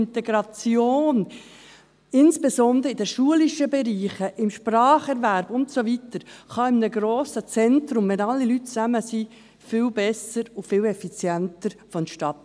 Die Integration, insbesondere in den schulischen Bereichen, beim Spracherwerb und so weiter kann in grossen Zentren, wenn alle Leute zusammen sind, viel besser und effizienter vonstattengehen.